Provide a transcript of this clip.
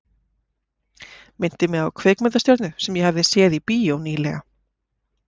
Minnti mig á kvikmyndastjörnu sem ég hafði séð í bíó ný- lega.